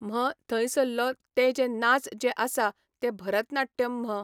म्ह थंयसल्लो ते जे नाच जे आसा ते भरतनाट्यम् म्ह